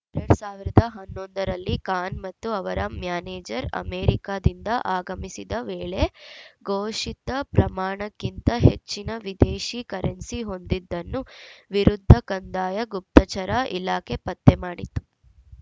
ಎರಡ್ ಸಾವಿರದ ಹನ್ನೊಂದ ರಲ್ಲಿ ಖಾನ್‌ ಮತ್ತು ಅವರ ಮ್ಯಾನೇಜರ್‌ ಅಮೆರಿಕದಿಂದ ಆಗಮಿಸಿದ ವೇಳೆ ಘೋಷಿತ ಪ್ರಮಾಣಕ್ಕಿಂತ ಹೆಚ್ಚಿನ ವಿದೇಶಿ ಕರೆನ್ಸಿ ಹೊಂದಿದ್ದನ್ನು ವಿರುದ್ಧ ಕಂದಾಯ ಗುಪ್ತಚರ ಇಲಾಖೆ ಪತ್ತೆ ಮಾಡಿತ್ತು